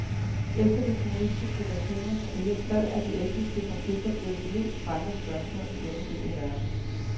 Efter de kommunistiske regimers og rigers fald er de etniske konflikter blevet de mest brændende spørgsmål i denne del af verden.